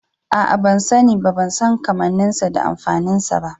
A'a ban sani ba, ban san kammanin sa da amfanin sa ba.